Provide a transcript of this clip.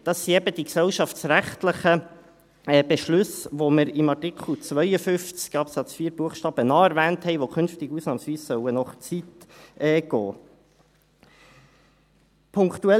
Dies sind die gesellschaftsrechtlichen Beschlüsse, die wir in Artikel 52 Absatz 4 Buchstabe a erwähnt haben und die künftig ausnahmsweise nach Zeit abgerechnet werden sollen.